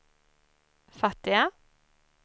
fattiga